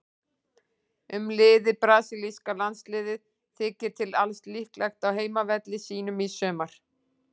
Um liðið: Brasilíska landsliðið þykir til alls líklegt á heimavelli sínum í sumar.